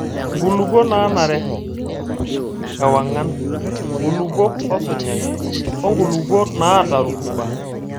Nkulupuok naanare, ewang'an, nkulupuok osunyai, onkulupuok naata rutuba.